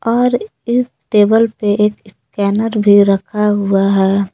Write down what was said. और इस टेबल पे एक स्कैनर भी रखा हुआ है।